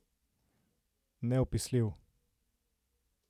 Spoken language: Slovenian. Neopisljiv.